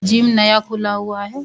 Gym नया खुला हुआ है।